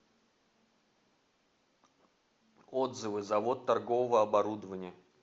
отзывы завод торгового оборудования